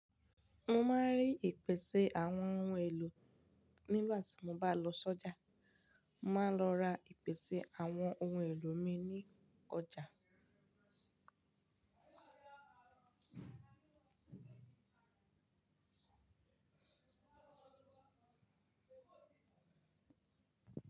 Mo máa rí ìpèsè àwọn ohun èlò nígbà tí mo bá lọ sọ́jà. Mo máa n lọ ra ìpèsè àwọn ohun èlò mi ní ọjà.